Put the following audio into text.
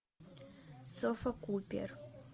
софа купер